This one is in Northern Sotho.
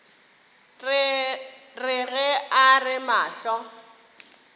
re ge a re mahlo